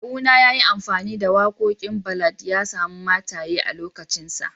Kawuna ya yi amfani da wakokin ballad ya samu mataye a'lokacin sa.